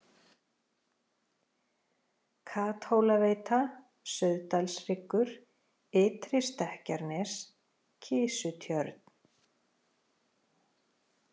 Kathólaveita, Sauðdalshryggur, Ytri-Stekkjarnes, Kisutjörn